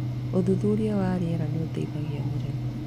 Ũthuthuria wa rĩera nĩ ũteithagia mũrĩmi.